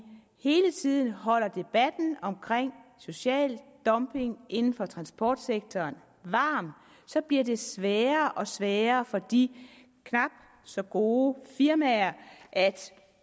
hele tiden holder debatten om social dumping inden for transportsektoren varm bliver det sværere og sværere for de knap så gode firmaer at